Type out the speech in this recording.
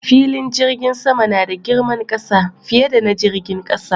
Filin jirgin sama nada girman ƙasa, fiye da na jirgin ƙasa